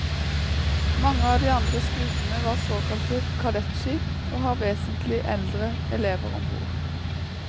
Mange av de andre skutene var såkalte kadettskip og har vesentlig eldre elever om bord.